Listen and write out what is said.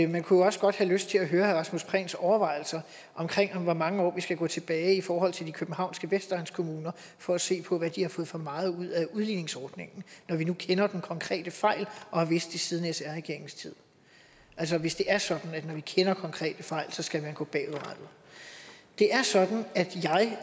man kunne jo også godt have lyst til at høre herre rasmus prehns overvejelser om hvor mange år vi skal gå tilbage i forhold til de københavnske vestegnskommuner for at se på hvad de har fået for meget ud af udligningsordningen når vi nu kender den konkrete fejl og har vidst det siden sr regeringens tid altså hvis det er sådan at når vi kender konkrete fejl så skal man gå bagud det er sådan at jeg